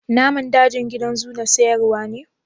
Naman dajin gidan zoo na sayarwa ne.